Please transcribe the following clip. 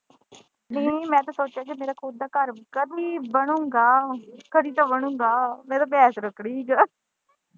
ਮੈਂ ਤਾਂ ਸੋਚੇ ਦੀ ਹੀ ਮੇਰਾ ਖੁਦ ਦਾ ਘਰ ਕਦੀ ਬਣੂਗਾ ਕਦੀ ਤਾਂ ਬਣੂਗਾ ਮੈਂ ਤੇ ਭੈਂਸ ਰੱਖਣੀ ਹੀ।